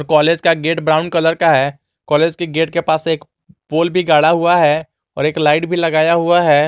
College का gate brown colour का है कॉलेज के गेट के पास एक पोल भी गड़ा हुआ है और एक लाइट भी लगाया हुआ है।